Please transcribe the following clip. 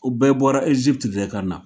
O bɛɛ bɔra de ka na